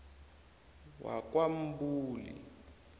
wakwamdluli